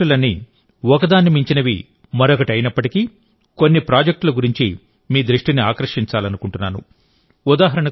ఈ ప్రాజెక్టులన్నీ ఒకదాన్ని మించినవి మరొకటి అయినప్పటికీకొన్ని ప్రాజెక్టుల గురించి మీ దృష్టిని ఆకర్షించాలనుకుంటున్నాను